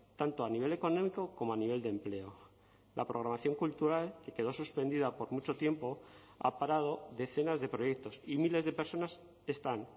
tanto a nivel económico como a nivel de empleo la programación cultural que quedó suspendida por mucho tiempo ha parado decenas de proyectos y miles de personas están